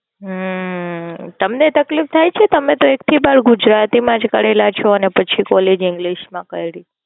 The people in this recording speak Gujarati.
હમ તમને તકલીફ થાઈ છે? તમે તો એક થી બાર ગુજરાતી માં જ ભણેલા છો ને પછી College english માં કરી.